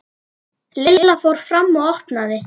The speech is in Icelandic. Lilla fór fram og opnaði.